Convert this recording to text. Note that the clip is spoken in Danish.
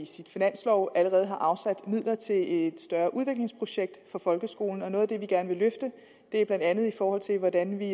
sin finanslov allerede har afsat midler til et større udviklingsprojekt for folkeskolen og noget af det vi gerne vil løfte er blandt andet i forhold til hvordan vi